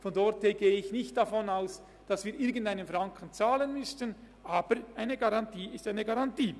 Insofern gehe ich nicht davon aus, dass wir einen Franken zahlen müssten, aber eine Garantie ist eine Garantie.